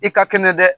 I ka kɛnɛ dɛ